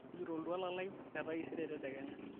tujuto oltuala lai letaisere tedekenya